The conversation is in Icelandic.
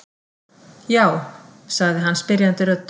Já? sagði hann spyrjandi röddu.